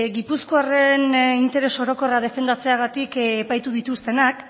gipuzkoarren interes orokorra defendatzeagatik epaitu dituztenak